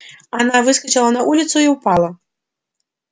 она выскочила на улицу и упала